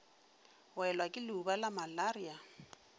welwa ke leuba la malaria